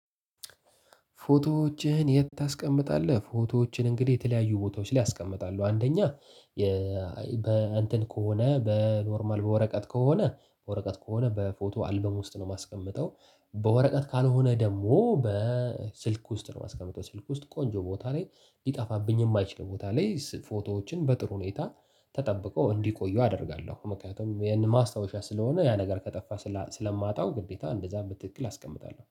ፎቶዎችህን የት ታስቀምጣለህ? ፎቶዎቼን እንግዲህ የተለያዩ ቦታዎች ላይ አስቀምጣለሁ። አንደኛ በእንትን ከሆነ በኖርማል በወረቀት ከሆነ በወረቀት ከሆነ በፎቶ አልበም ውስጥ ነው የማስቀምጠው። በወረቀት ካልሆነ ደግሞ በስልክ ውስጥ ነው የማስቀምጠው። ስልክ ውስጥ ቆንጆ ቦታ ላይ ሊጠፋብኝ የማይችል ቦታ ላይ ፎቶዎችን በጥሩ ሁኔታ ተጠብቀው እንዲቆዩ አደርጋለሁ። ምክንያቱም ይሄን ማስታወሻ ስለሆነ ያ ነገር ከጠፋ ስለማጣው ግዴታ እንደዛ በትክክል አስቀምጣለሁ።